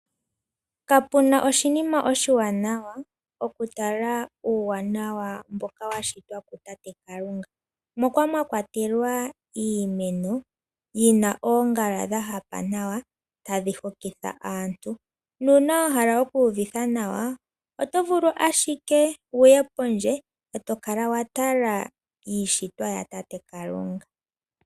Kapena oshinima oshiwanawa okutala uuwanawa mboka washitwa kutate Kalunga moka mwakwatelwa iimeno yina oongala dha hapa nawa tadhi hokitha aantu ,nuuna wahala oku uvitha nawa otovulu ashike wuye pondje etokala watala iishitwa ya tate Kalunga.